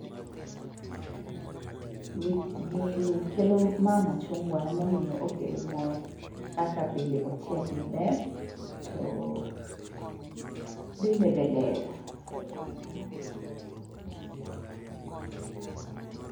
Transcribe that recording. Gini kelo ma machungwa, emomiyo okelo mor kaka bende ochiek maber to dende be ler.